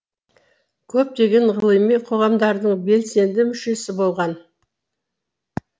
көптеген ғылыми қоғамдардың белсенді мүшесі болған